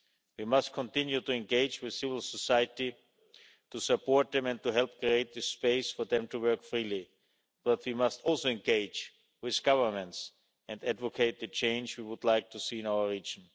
We must continue to engage with civil society, to support them and to help create the space for them to work freely, but we must also engage with governments and advocate the change we would like to see in our region.